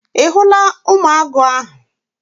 Ị hụla ụmụ agụ ahụ?